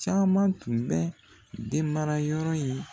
Caman tun bɛ den mara yɔrɔ ye.